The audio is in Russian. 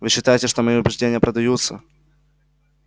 вы считаете что мои убеждения продаются